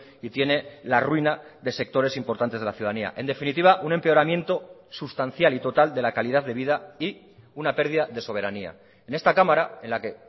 y tiene la ruina de sectores importantes de la ciudadanía en definitiva un empeoramiento sustancial y total de la calidad de vida y una pérdida de soberanía en esta cámara en la que